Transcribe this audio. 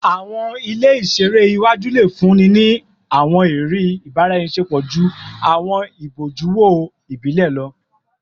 Awọn ile iṣere iwaju le funni ni awọn iriri ibaraenisepo ju awọn ibojuwo ibile lọ